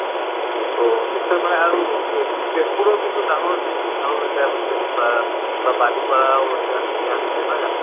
তʼ নিশ্চয় মানে আৰু তেজপুৰও কিন্তু ডাঙৰ city ভাল এটা হৈছে বা বা বালিপাৰাও আছে ধুনীয়া হৈছে নহয় জানো?